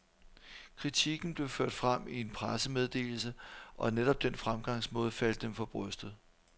Kritikken blev ført frem i en pressemeddelse, og netop den fremgangsmåde faldt dem for brystet.